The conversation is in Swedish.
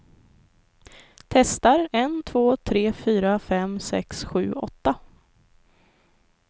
Testar en två tre fyra fem sex sju åtta.